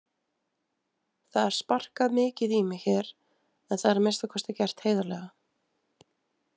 Það er sparkað mikið í mig hér en það er að minnsta kosti gert heiðarlega.